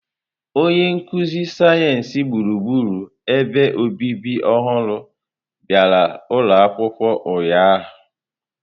Onye nkuzi sayensị gburugburu ebe obibi ọhụrụ bịara ụlọ akwụkwọ ụnyahụ.